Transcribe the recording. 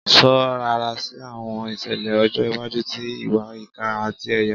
Sọ rara si awọn iṣẹlẹ ọjọ iwaju ti iwa ika ati ẹya